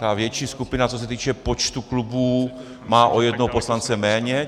Ta větší skupina, co se týče počtu klubů, má o jednoho poslance méně.